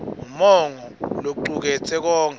umongo locuketse konkhe